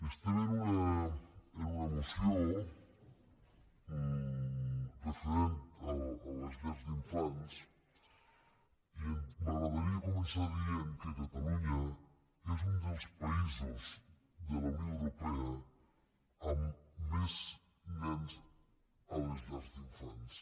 estem en una moció referent a les llars d’infants i m’agradaria començar dient que catalunya és un dels països de la unió europea amb més nens a les llars d’infants